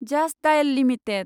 just Dial limited